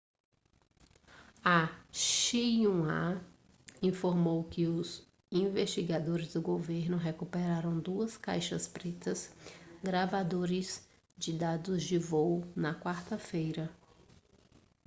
a xinhua informou que os investigadores do governo recuperaram duas caixas pretas gravadores de dados de voo na quarta-feira